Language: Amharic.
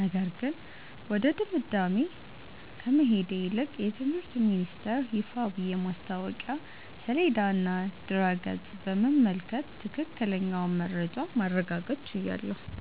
ነገር ግን ወደ ድምዳሜ ከመሄድ ይልቅ የትምህርት ሚኒስተር ይፋዊ የማስታወቂያ ሰሌዳና ድረ-ገጽ በመመልከት ትክክለኛውን መረጃ ማረጋገጥ ችያለሁ።